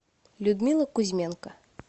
людмила кузьменко